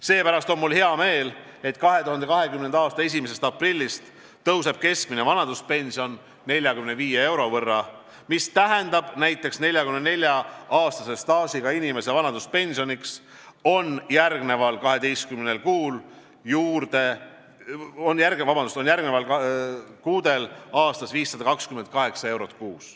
Seepärast on mul hea meel, et 2020. aasta 1. aprillist tõuseb keskmine vanaduspension 45 euro võrra, mis tähendab, et näiteks 44-aastase staažiga inimese vanaduspensioniks on aasta järgnevatel kuudel 528 eurot kuus.